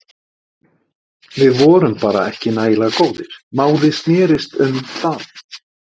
Við vorum bara ekki nægilega góðir, málið snérist um það.